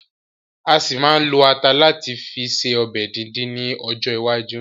A ṣì ma ma lo ata láti fi ṣe ọbẹ̀ díndín ni ọjọ́ iwájú